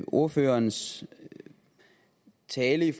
ordførerens tale